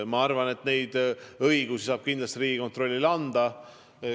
Ma arvan, et neid õigusi saab kindlasti Riigikontrollile anda.